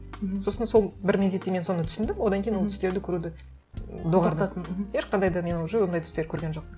мхм сосын сол бір мезетте мен соны түсіндім одан кейін ол түстерді көруді доғардым мхм ешқандай да мен уже ондай түстер көрген жоқпын